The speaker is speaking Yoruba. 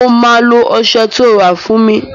Mo máa lo ọsẹ tó rà fún mi